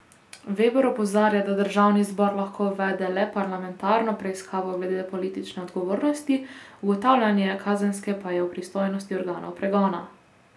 Veber opozarja, da državni zbor lahko uvede le parlamentarno preiskavo glede politične odgovornosti, ugotavljanje kazenske pa je v pristojnosti organov pregona.